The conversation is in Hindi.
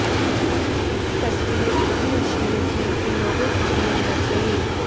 तस्वीरें इतनी अश्लील थीं कि लोगों की भीड़ लग गई